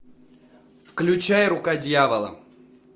включай рука дьявола